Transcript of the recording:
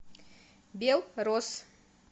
бел рос